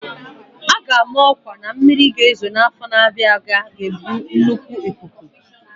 A ga-ama ọkwa na mmiri ga-ezo n'afọ na-abịa abịa ga-ebu nnukwu ikuku.